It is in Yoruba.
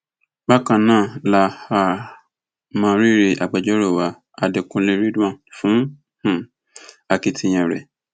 bákan náà la um mọ rírì agbẹjọrò wa adẹkùnlé ridwan fún um akitiyan rẹ